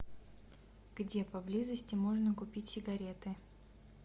где поблизости можно купить сигареты